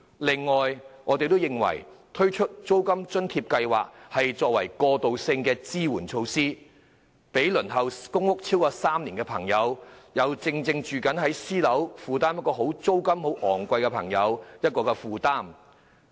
另外，我們認為應推出租金津貼計劃作為過渡性支援措施，讓輪候公屋超過3年，並正以昂貴租金租住私人樓宇的人士能減輕負擔。